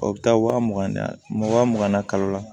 O bɛ taa waa mugan de waa mugan na kalo la